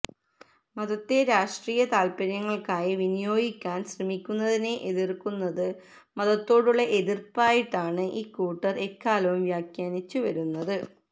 മതത്തെ രാഷ്ട്രീയ താല്പര്യങ്ങള്ക്കായി വിനിയോഗിക്കാന് ശ്രമിക്കുന്നതിനെ എതിര്ക്കുന്നത് മതത്തോടുള്ള എതിര്പ്പായിട്ടാണ് ഇക്കൂട്ടര് എക്കാലവും വ്യഖാനിച്ചിച്ചു വരുന്നത്